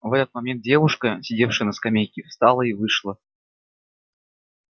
в этот момент девушка сидевшая на скамейке встала и вышла